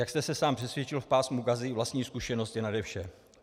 Jak jste se sám přesvědčil v pásmu Gazy, vlastní zkušenost je nade vše.